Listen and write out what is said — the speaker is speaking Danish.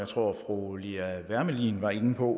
tror fru lea wermelin var inde på